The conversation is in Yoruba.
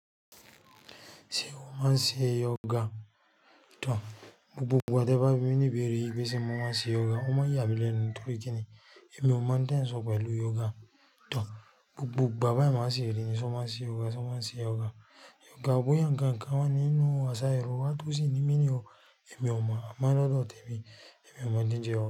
Ṣé ọmọ máa ṣe yoga? Tòr, gbogbo ìgbà tí ẹ bá bi mi ní ìbéèrè wí pé ṣe mọ máa ṣe yoga, ó máa ń yà mí lẹ́nu, ni nítorí kíni, èmi ọ mọ ń tẹ̀ n sọ̀ pẹ̀lú yoga. Tòr, gbogbo ìgbà báyìí mo máa ń ṣi rí, "ṣé o máa ń ṣe yoga, ṣé o máa ń ṣe yoga?" Yoga bo yà nǹkan kan wà ni nínú àṣà yorùbá tó sì ní meaning ni o, èmi ọ mọ, a mo lọ́dọ̀ tẹmi, èmi ọ mọ n tí ń jẹ ọmọ.